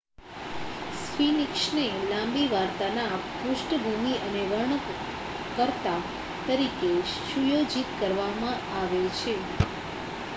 સ્ફિનિક્સને લાંબી વાર્તાના પૃષ્ઠભૂમિ અને વર્ણનકર્તા તરીકે સુયોજિત કરવામાં આવે છે